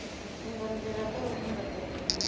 tsumbanḓila kha u sumbedza zwine